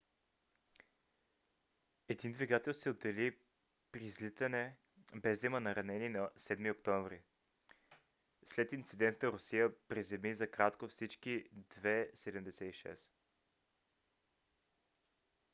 един двигател се отдели при излитане без да има наранени на 7 октомври. след инцидента русия приземи за кратко всички il-76